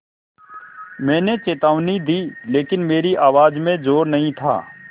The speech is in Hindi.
मैंने चेतावनी दी लेकिन मेरी आवाज़ में ज़ोर नहीं था